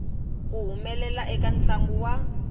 ku humelela eka ntlangu wa